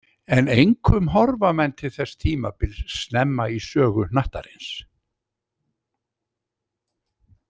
En einkum horfa menn til þess tímabils snemma í sögu hnattarins.